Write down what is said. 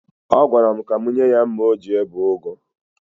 Ọ gwara m ka m nye ya mma o ji ebe ụgụ.